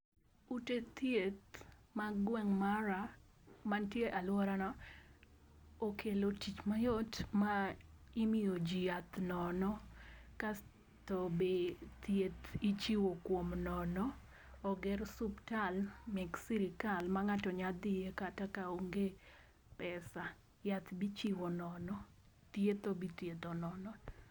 Ute thieth mag gweng' mara, mantie e aluorana, ekelo tich mayot ma imiyo ji yath nono, kasto be thieth ichiwo kuom nono, oger suptal mek sirikal ma nga'to nyalo thie kata ka onge pesa yath be ichiwo nono thietho be ithietho nono.